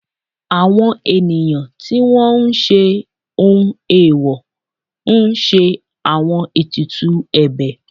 àwọn ènìyàn tí wọ́n ń ṣe ohun eèwò ń ṣe àwọn etùtù ebè